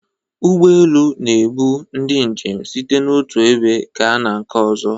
Ụgbọ elu na-ebu ndị njem site n'otu ebe gaa na nke ọzọ.